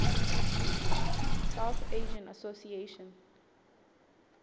south asian association